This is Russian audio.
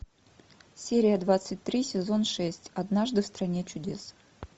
серия двадцать три сезон шесть однажды в стране чудес